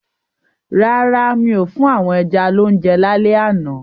Rárá, mi ò fún àwọn ẹja lounje lálẹ́ àná.